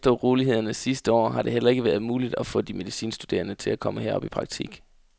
Efter urolighederne sidste år har det heller ikke været muligt at få de medicinstuderende til at komme herop i praktik.